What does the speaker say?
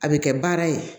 A bɛ kɛ baara ye